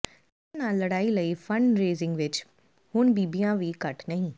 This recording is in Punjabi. ਕੈਂਸਰ ਨਾਲ ਲੜਾਈ ਲਈ ਫੰਡ ਰੇਜ਼ਿੰਗ ਵਿਚ ਹੁਣ ਬੀਬੀਆਂ ਵੀ ਘੱਟ ਨਹੀਂ